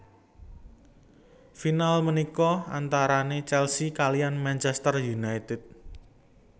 Final punika antarane Chelsea kaliyan Manchester United